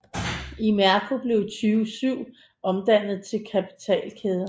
Imerco blev i 2007 omdannet til kapitalkæde